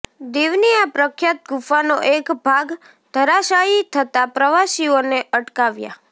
દિવની આ પ્રખ્યાત ગુફાનો એક ભાગ ધરાશાયી થતા પ્રવાસીઓને અટકાવાયા